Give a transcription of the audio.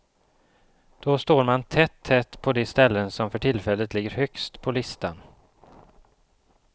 Då står man tätt, tätt på de ställen som för tillfället ligger högst på listan.